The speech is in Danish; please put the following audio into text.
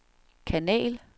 kanal